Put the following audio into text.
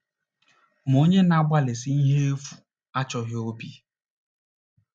“Ma onye na-agbalịsi ihe efu achọghị obi.”